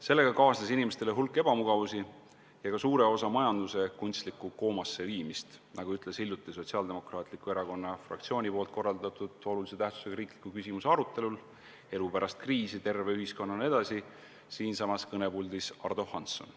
Sellega kaasnes inimestele hulk ebamugavusi ja ka suure osa majanduse kunstlikku koomasse viimist, nagu ütles hiljuti Sotsiaaldemokraatliku Erakonna fraktsiooni korraldatud olulise tähtsusega riikliku küsimuse arutelul "Elu pärast kriisi – terve ühiskonnana edasi" siinsamas kõnepuldis Ardo Hansson.